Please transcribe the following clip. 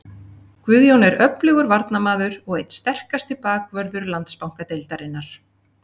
Guðjón er öflugur varnarmaður og einn sterkasti bakvörður Landsbankadeildarinnar.